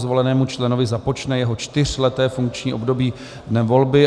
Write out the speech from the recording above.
Zvolenému členovi započne jeho čtyřleté funkční období dnem volby.